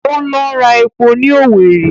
Óńlọ ra epo ní Owerri